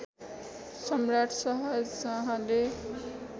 सम्राट शाहजहाँले